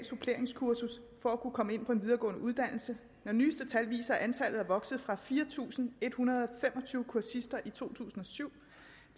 suppleringskursus for at kunne komme ind på en videregående uddannelse når nyeste tal viser at antallet er vokset fra fire tusind en hundrede og tyve kursister i to tusind og syv